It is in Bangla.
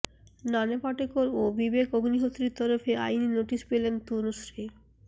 নানা পাটেকর ও বিবেক অগ্নিহোত্রীর তরফে আইনী নোটিশ পেলেন তনুশ্রী